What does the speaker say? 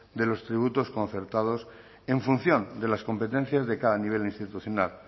de los tributos concertados en función de las competencias de cada nivel institucional